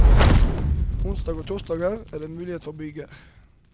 Onsdag og torsdag er det mulighet for byger.